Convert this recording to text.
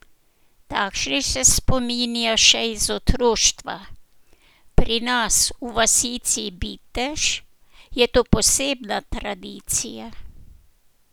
Takšnih se spominja še iz otroštva: "Pri nas, v vasici Bitež, je to posebna tradicija.